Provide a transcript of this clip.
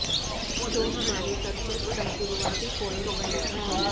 तो हमारे सब्जेक्ट का शुरुआती प्वाइंट वही था